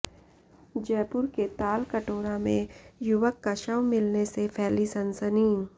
जयपुर के तालकटोरा में युवक का शव मिलने से फैली सनसनी